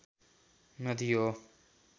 नदी हो